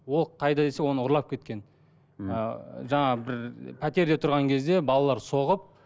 ол қайда десе оны ұрлап кеткен мхм ыыы жаңағы бір пәтерде тұрған кезде балалар соғып